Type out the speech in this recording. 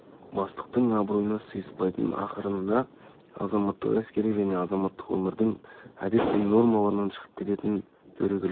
бастықтың абыройына сыйыспайтын ақырында азаматтық әскери және азаматтық өмірдің әдет пен нормаларынан шығып кететін дөрекіліктен